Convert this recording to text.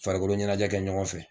Farikolo ɲɛnajɛ kɛ ɲɔgɔn fɛ.